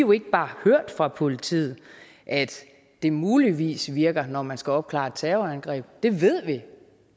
jo ikke bare hørt fra politiet at det muligvis virker når man skal opklare et terrorangreb det ved vi